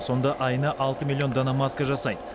сонда айына алты миллион дана маска жасайды